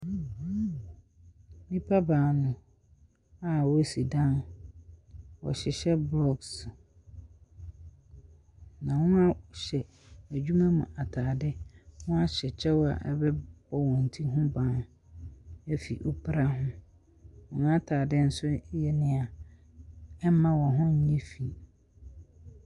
Nnipa baanu a ɔresi dan, ɔrehyehyɛ blocks na ɔhyɛ adwuma mu ataade. w'ahyɛ kyɛw a ɛbɛbɔ wɔn ti ho ban efiri epra ho. Wɔn ataade nso yɛ nea ɛnma wɔn ho nyɛ finn.